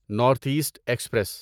north east express